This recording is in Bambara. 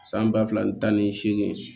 San ba fila ni tan ni seegin